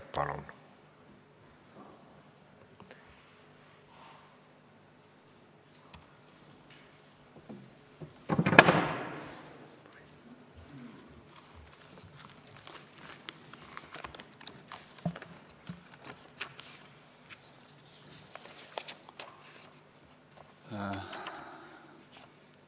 Palun!